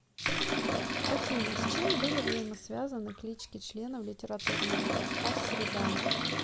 афина с чем были взаимосвязаны клички членов литературного кружка среда